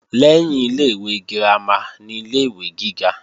Lẹ́yìn ilé-ìwé girama ni ilé-ìwé gíga